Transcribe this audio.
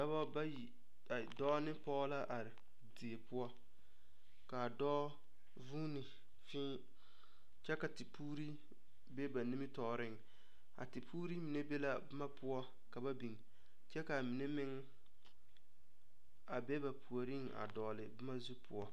Dɔba bayi ai dɔɔ ne pɔge la are die poɔ ka a dɔɔ vuune fii kyɛ ka tepuure be ba nimitɔɔreŋ a tepuure mine be la boma poɔ ka ba biŋ kyɛ ka a mine meŋ be a ba puoriŋ a dɔgle boma zu poɔ.